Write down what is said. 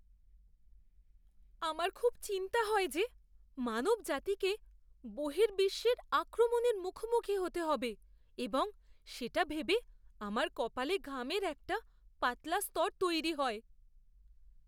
আমার খুব চিন্তা হয় যে মানবজাতিকে বহির্বিশ্বের আক্রমণের মুখোমুখি হতে হবে এবং সেটা ভেবে আমার কপালে ঘামের একটা পাতলা স্তর তৈরি হয়!